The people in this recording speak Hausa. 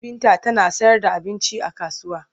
Binta tana sayarda abinci a kasuwa.